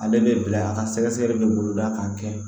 Ale bɛ bila a ka sɛgɛsɛgɛli bɛ boloda k'a kɛ